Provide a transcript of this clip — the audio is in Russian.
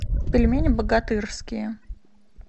пельмени богатырские